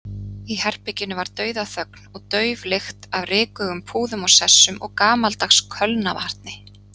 Í herberginu var dauðaþögn og dauf lykt af rykugum púðum og sessum og gamaldags kölnarvatni.